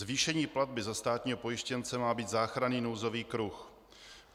Zvýšení platby za státního pojištěnce má být záchranný nouzový kruh.